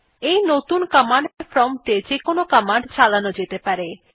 এই নতুন command prompt এ যেকোনো কমান্ড চালানো যেতে পারে